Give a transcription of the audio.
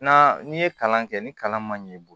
Na n'i ye kalan kɛ ni kalan ma ɲɛ i bolo